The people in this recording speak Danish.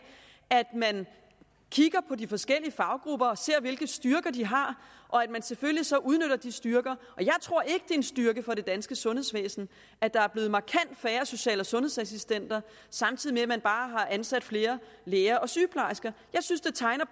at man kigger på de forskellige faggrupper og ser hvilke styrker de har og at man selvfølgelig så udnytter de styrker jeg tror ikke det en styrke for det danske sundhedsvæsen at der er blevet markant færre social og sundhedsassistenter samtidig med at man bare har ansat flere læger og sygeplejersker jeg synes det tegner